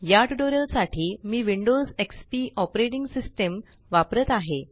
या ट्यूटोरियल साठी मी विंडोज एक्सपी ऑपरेटिंग सिस्टम वापरत आहे